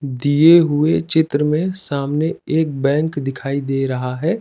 दिए हुए चित्र में सामने एक बैंक दिखाई दे रहा है।